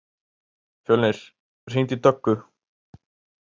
Fjölnir, hringdu í Döggu.